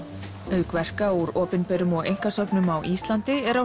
auk verka úr opinberum og einkasöfnum á Íslandi eru